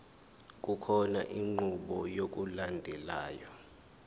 kukhona inqubo yokulandelayo